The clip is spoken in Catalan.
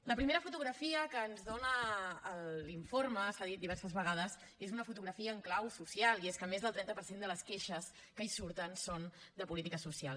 la primera fotografia que ens dona l’informe s’ha dit diverses vegades és una fotografia en clau social i és que més del trenta per cent de les queixes que hi surten són de polítiques socials